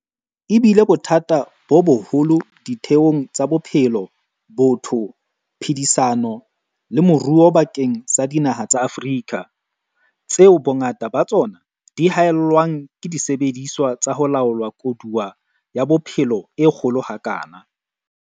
E bile bothata bo boholo ditheong tsa bophelo, botho, phedisano le moruo bakeng sa dinaha tsa Afrika, tseo bongata ba tsona di hae llwang ke disebediswa tsa ho laola koduwa ya bophelo e kgolo ha kana.